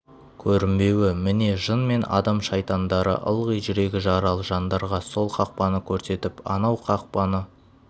көрінбеуі міне жын мен адам шайтандары ылғи жүрегі жаралы жандарға сол қақпаны көрсетіп анау қақпаны